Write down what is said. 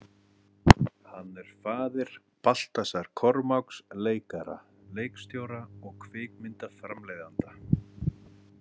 Hann er faðir Baltasars Kormáks, leikara, leikstjóra og kvikmyndaframleiðanda.